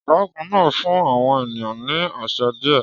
Ọ̀gágun náà fún àwọn ènìyàn ní àṣẹ díẹ̀.